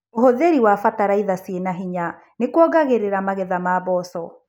ũhũthĩri wa bataraitha cina hinya nĩkuongagĩrĩra magetha ma mboco.